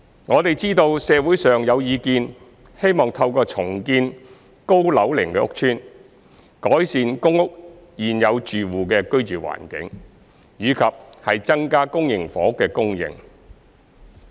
我們知道社會上有意見希望透過重建高樓齡屋邨，改善公屋現有住戶的居住環境，以及增加公營房屋供應。